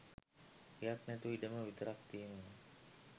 ගෙයක් නැතුව ඉඩම විතරක් තියෙනවා